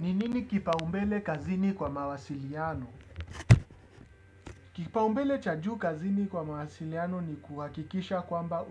Ni nini kipaumbele kazini kwa mawasiliano? Kipaumbele cha juu kazini kwa mawasiliano ni kuhakikisha kwamba